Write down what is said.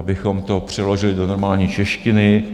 Abychom to přeložili do normální češtiny,